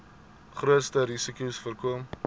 grootste risikos voorkom